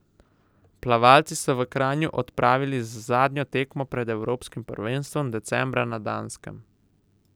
Plavalci so v Kranju opravili z zadnjo tekmo pred evropskim prvenstvom decembra na Danskem.